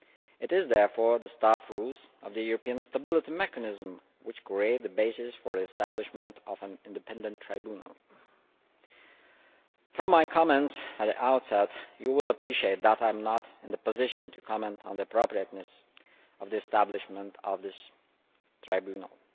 It is therefore the Staff Rules of the European Stability Mechanism which create the basis for the establishment of an independent tribunal. From my comments at the outset, you will appreciate that I am not in a position to comment on the appropriateness of the establishment of this tribunal.